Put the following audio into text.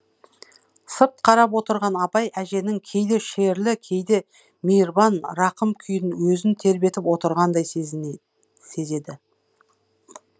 сырт қарап отырған абай әженің кейде шерлі кейде мейірбан рақым күйін өзін тербетіп отырғандай сезеді